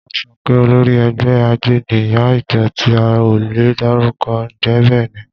Wọ́n sọ pé olórí ẹgbẹ́ àjẹ́ ni ìyá ìjọ tí a ò lè dárúkọ. Ǹjẹ́ bẹ́ẹ̀ ni?